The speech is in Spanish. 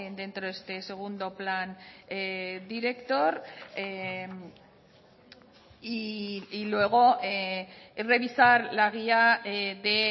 dentro de este segundo plan director y luego revisar la guía de